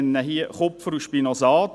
Ich nenne hier Kupfer und Spinosad.